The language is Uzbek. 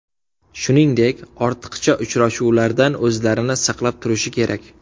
Shuningdek, ortiqcha uchrashuvlardan o‘zlarini saqlab turishi kerak.